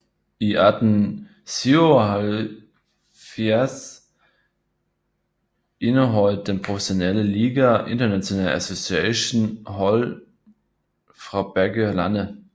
I 1877 indeholdt den professionelle liga International Association hold fra begge lande